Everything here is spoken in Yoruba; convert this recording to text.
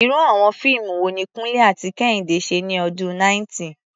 Irú àwọn fíìmù wo ni Kunle àti Kehinde ṣe ní ọdún 90?